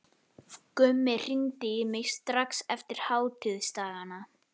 Gummi hringdi í mig strax eftir hátíðisdagana.